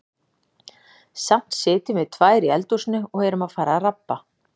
Samt sitjum við tvær í eldhúsinu og erum að fara að rabba.